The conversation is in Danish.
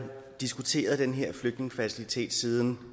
diskuteret den her flygtningefacilitet siden